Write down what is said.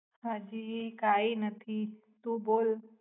હાજી કાઈ નાથી તુ બોલ